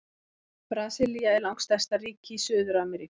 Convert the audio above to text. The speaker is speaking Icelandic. Brasilía er langstærsta ríki í Suður-Ameríku.